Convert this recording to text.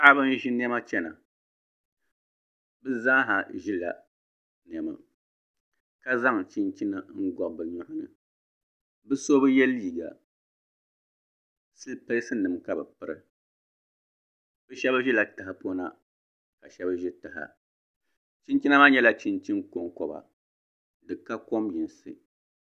Paɣaba n ʒi niɛma chɛna bi zaaha ʒila niɛma ka zaŋ chinchina n gɔbi bi nyoɣani bi so bi yɛ liiga siliipɛs nim ka bi piri bi shab ʒila tahapona ka shab ʒi taha chinchina maa nyɛla chinchin konkoba di ka kom yinsi